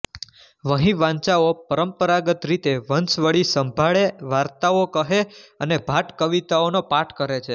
વહિવાંચાઓ પરંપરાગત રીતે વંશાવળી સંભાળે વાર્તાઓ કહે અને ભાટ કવિતાઓનો પાઠ કરે છે